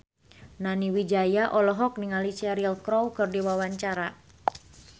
Nani Wijaya olohok ningali Cheryl Crow keur diwawancara